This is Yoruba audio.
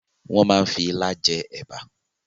Wọn máa ń fi ilá jẹ ẹ̀bà